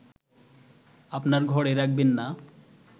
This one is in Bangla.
আপনার ঘরে রাখবেন না